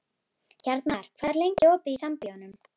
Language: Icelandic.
Hjarnar, hvað er lengi opið í Sambíóunum?